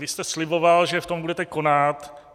Vy jste sliboval, že v tom budete konat.